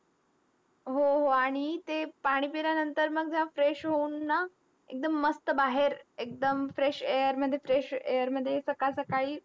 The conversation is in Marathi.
हो हो आणि ते पाणी पिल्यानंतर मग जरा fresh होऊन ना, एकदम मस्त बाहेर एकदम fresh air मध्ये fresh air मध्ये सकाळ सकाळी